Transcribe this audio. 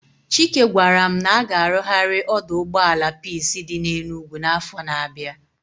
Chike gwaram na a ga arughari oduugboala peace di na Enugwu na afo na abia